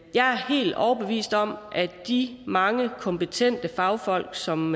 jeg er helt overbevist om at de mange kompetente fagfolk som